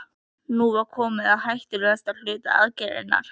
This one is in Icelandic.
Nú var komið að hættulegasta hluta aðgerðarinnar.